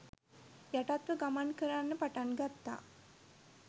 යටත්ව ගමන් කරන්න පටන් ගත්තා